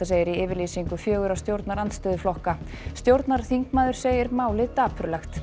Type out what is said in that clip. segir í yfirlýsingu fjögurra stjórnarandstöðuflokka stjórnarþingmaður segir málið dapurlegt